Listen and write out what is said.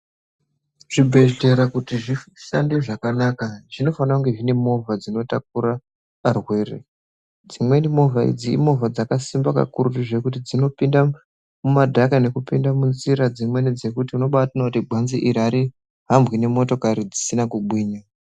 Zvibhedhlera kuti zvishande zvakanaka zvinofanire kunge zvine movha dzinotakura varwere. Dzimweni movha idzi imovha dzakasimba kakurutu zvekuti dzinopinde mumadhaka nekupinde minjira dzimweni dzekuti unobatoona kuti gwanze iri arihambwi ngemovha dzisina kugwinya.